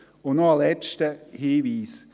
Und noch ein letzter Hinweis.